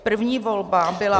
První volba byla -